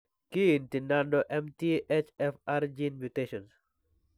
Kiinti nano MTHFR gene mutations?